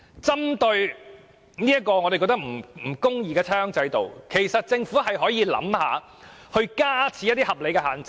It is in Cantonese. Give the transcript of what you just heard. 針對這個我們認為不公義的差餉制度，政府可以考慮加設一些合理限制。